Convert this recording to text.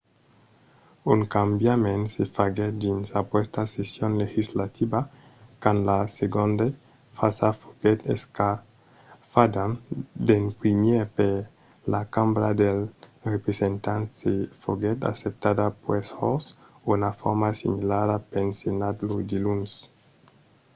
un cambiament se faguèt dins aquesta session legislativa quand la segonda frasa foguèt escafada d’en primièr per la cambra dels representants e foguèt acceptada puèi jos una forma similara pel senat lo diluns